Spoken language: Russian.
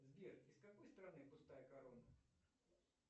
сбер из какой страны пустая корона